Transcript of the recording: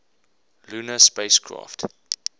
lunar spacecraft